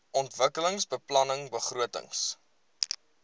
ontwikkelingsbeplanningbegrotings